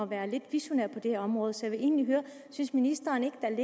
være lidt visionære på det her område så jeg vil egentlig høre synes ministeren ikke at